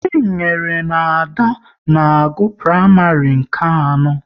Chinenye na Ada na-agụ praịmarị nke anọ